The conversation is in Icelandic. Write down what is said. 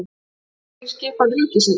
Innri skipan ríkisins